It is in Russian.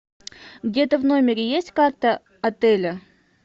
где то в номере есть карта отеля